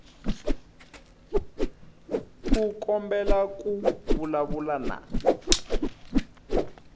u kombela ku vulavula na